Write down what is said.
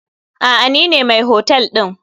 Aa nine mai hotel ɗin.